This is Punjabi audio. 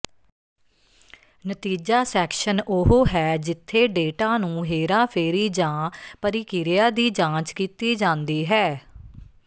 ਨਤੀਜਾ ਸੈਕਸ਼ਨ ਉਹ ਹੈ ਜਿੱਥੇ ਡੇਟਾ ਨੂੰ ਹੇਰਾਫੇਰੀ ਜਾਂ ਪਰਿਕਿਰਿਆ ਦੀ ਜਾਂਚ ਕੀਤੀ ਜਾਂਦੀ ਹੈ